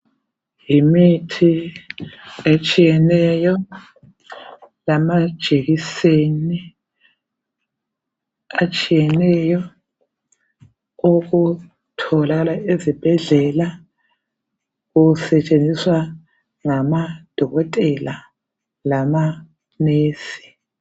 Yimithi etshiyeneyo lamajekiseni atshiyeneyo okutholakala ezibhedlela kusetshenziswa ngamadokotela lama nurse.